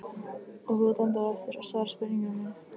Og þú átt ennþá eftir að svara spurningu minni.